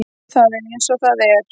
Það er eins og það er.